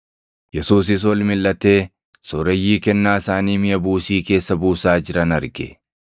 Yesuusis ol milʼatee sooreyyii kennaa isaanii miʼa buusii keessa buusaa jiran arge.